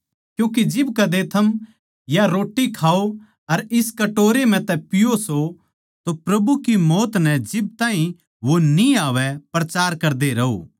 क्यूँके जिब कद्दे थम या रोट्टी खाओ अर इस कटोरे म्ह तै पीओ सो तो प्रभु की मौत नै जिब ताहीं वो न्ही आवै प्रचार करदे रहो